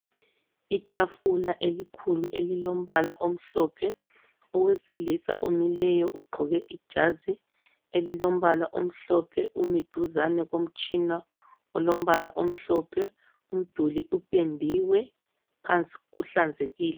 Itafula elikhulu elilombala omhlophe. Owesilisa omileyo ugqoke ijazi elilombala omhlophe umi duzane komtshina olombala omhlophe . Umduli upendiwe . Phansi kuhlanzekile .